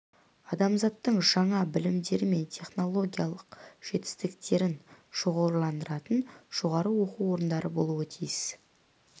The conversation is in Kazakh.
адамзаттың жаңа білімдері мен технологиялық жетістіктерін шоғырландыратын жоғары оқу орындары болуы тиіс